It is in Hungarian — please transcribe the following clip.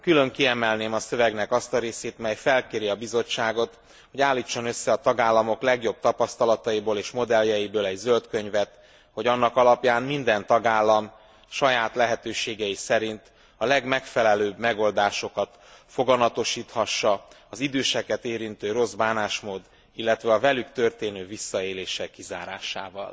Külön kiemelném a szövegnek azt a részét, mely felkéri a Bizottságot, hogy állítson össze a tagállamok legjobb tapasztalataiból és modelljeiből egy zöld könyvet, hogy annak alapján minden tagállam saját lehetőségei szerint a legmegfelelőbb megoldásokat foganatosíthassa az időseket érintő rossz bánásmód, illetve a velük történő visszaélések kizárásával.